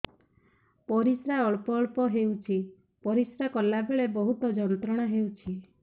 ପରିଶ୍ରା ଅଳ୍ପ ଅଳ୍ପ ହେଉଛି ପରିଶ୍ରା କଲା ବେଳେ ବହୁତ ଯନ୍ତ୍ରଣା ହେଉଛି